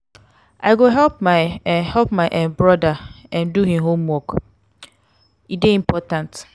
i go help my um help my um brother um do him homework; um e dey important.